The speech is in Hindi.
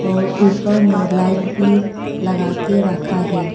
और ऊपर में एक लाइट भी लगा के रखा है।